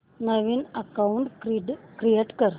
नवीन account create कर